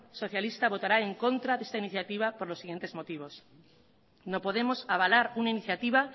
socialista votará en contra de esta iniciativa por los siguientes motivos no podemos avalar una iniciativa